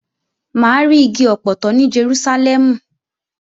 Mà á ri igi ọpọtọ ní Jerúsálẹ́mù